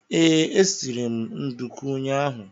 Ee, e siri m ndùkú ụnyaahụ